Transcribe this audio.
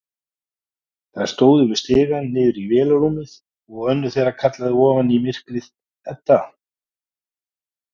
Þær stóðu við stigann niður í vélarrúmið og önnur þeirra kallaði ofan í myrkrið: Edda!